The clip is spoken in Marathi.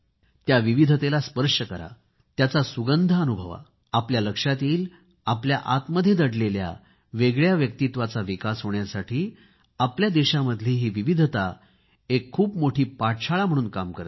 त्या विविधतेला स्पर्श करा त्याचा सुगंध अनुभवा आपल्या लक्षात येईल आपल्या आतमध्ये दडलेल्या वेगळ्या व्यक्तिमत्वाचा विकास होण्यासाठी आपल्या देशामधली ही विविधता एक खूप मोठी शाळा म्हणून काम करते